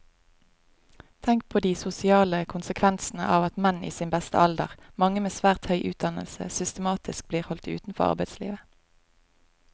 Tenk på de sosiale konsekvensene av at menn i sin beste alder, mange med svært høy utdannelse, systematisk blir holdt utenfor arbeidslivet.